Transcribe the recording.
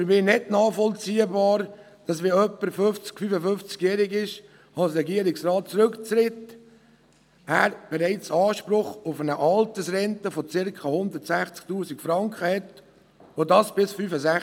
Für mich ist es nicht nachvollziehbar, dass jemand, der 50- oder 55-jährig als Regierungsrat zurücktritt, bereits Anspruch auf eine Altersrente von circa 160 000 Franken hat und erst noch bis 65.